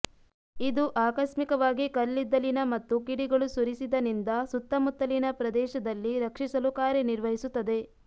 ಇದು ಆಕಸ್ಮಿಕವಾಗಿ ಕಲ್ಲಿದ್ದಲಿನ ಮತ್ತು ಕಿಡಿಗಳು ಸುರಿಸಿದ ನಿಂದ ಸುತ್ತಮುತ್ತಲಿನ ಪ್ರದೇಶದಲ್ಲಿ ರಕ್ಷಿಸಲು ಕಾರ್ಯನಿರ್ವಹಿಸುತ್ತದೆ